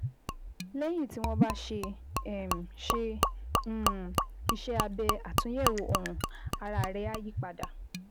Lẹ́yìn tí wọ́n bá ṣe um ṣe um iṣẹ́ abẹ àtúnyẹ̀wò ọrùn, ara rẹ á yí padà